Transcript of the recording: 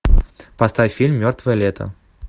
поставь фильм мертвое лето